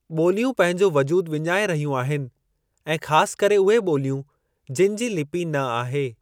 ॿोलियूं पंहिंजो वजूद विञाए रहियूं आहिनि ऐं ख़ासि करे उहे ॿोलियूं, जिनि जी लिपी न आहे।